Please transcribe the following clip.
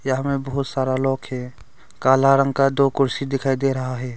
यहां में बहुत सारा लोग है काला रंग का दो कुर्सी दिखाई दे रहा है।